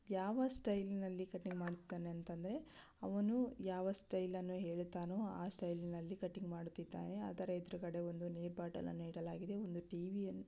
ಯಾವ ಸ್ಟೈಲನಲ್ಲಿ ಕಟಿಂಗ್ ಮಾಡುತ್ತಾನೆ ಅಂದ್ರೆ ಅವನು ಯಾವ ಸ್ಟೈಲನಲ್ಲಿ ಹೇಳುತ್ತಾನೋ ಆ ಸ್ಟೈಲನಲ್ಲಿ ಕಟಿಂಗ್ ಮಾಡ್ತಿದ್ದಾನೆ. ಆದರೆ ಎದುರುಗಡೆ ಒಂದು ನೀರ್ ಬಾಟಲನ್ನು ಇಡಲಾಗಿದೆ. ಒಂದು ಟಿವಿಯನ್ನು --